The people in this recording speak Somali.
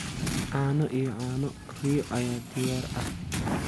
Caano iyo caano riyo ayaa diyaar ah.